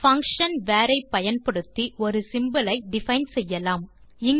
function var ஐ பயன்படுத்தி ஒரு சிம்போல் ஐ டிஃபைன் செய்யலாம்